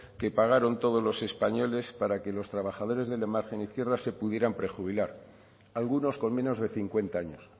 que pagaron todos los españoles para que los trabajadores de la margen izquierda se pudieran prejubilar algunos con menos de cincuenta años